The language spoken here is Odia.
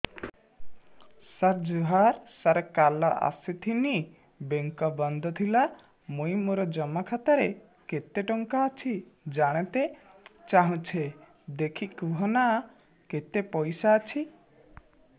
ସାର ଜୁହାର ସାର କାଲ ଆସିଥିନି ବେଙ୍କ ବନ୍ଦ ଥିଲା ମୁଇଁ ମୋର ଜମା ଖାତାରେ କେତେ ଟଙ୍କା ଅଛି ଜାଣତେ ଚାହୁଁଛେ ଦେଖିକି କହୁନ ନା କେତ ପଇସା ଅଛି